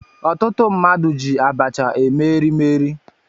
Ọtụtụ mmadụ ji abacha eme erimeri